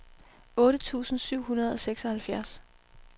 otte tusind syv hundrede og seksoghalvfjerds